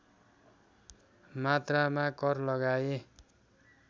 मात्रामा कर लगाए